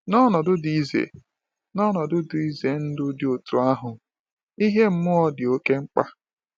N’ọnọdụ dị ize N’ọnọdụ dị ize ndụ dị otú ahụ, ìhè mmụọ dị oké mkpa.